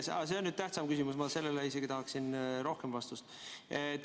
Teine on tähtsam küsimus, ma sellele tahaksin isegi rohkem vastust.